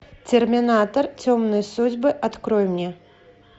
терминатор темные судьбы открой мне